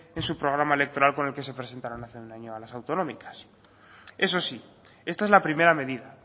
en su programa electoral con el que se presentaba hace un año a las autonómicas eso sí esta es la primera medida